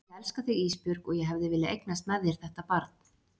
Ég elska þig Ísbjörg og ég hefði viljað eignast með þér þetta barn.